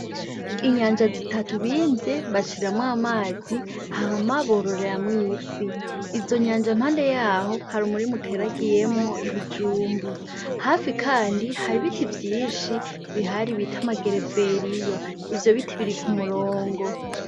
Inyanja zitatu bimvye bashiramwo amazi hama bororeramwo ifi. Izo nyanja impande yaho hari umurima uteragiyemwo ibijumbu. Hafi kandi hari ibiti vyinshi bihari bita amagereveriyo, ivyo biti biri ku murongo.